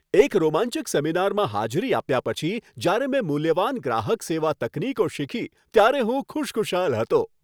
એક રોમાંચક સેમિનારમાં હાજરી આપ્યા પછી જ્યારે મેં મૂલ્યવાન ગ્રાહક સેવા તકનીકો શીખી ત્યારે હું ખુશખુશાલ હતો.